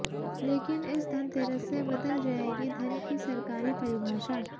लेकिन इस धनतेरस से बदल जाएगी धन की सरकारी परिभाषा